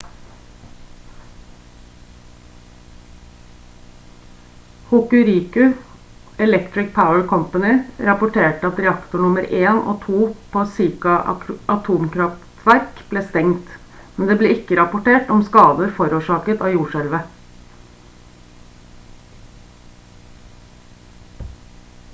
hokuriku electric power co rapporterte at reaktor nr 1 og 2 på shika atomkraftverk ble stengt men det ble ikke rapportert om skader forårsaket av jordskjelvet